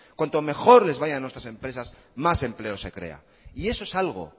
cuanto mejor les vaya a nuestras empresas más empleo se crea y eso es algo